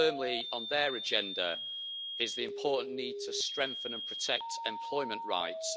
firmly on their agenda is the important need to strengthen and protect employment rights.